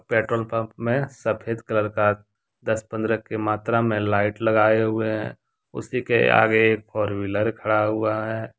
Petrol pump में सफेद colour का दस पंद्रह की मात्रा में लाइट लगाए हुए हैं उसी के आगे एक फोरव्हीलर खड़ा हुआ है।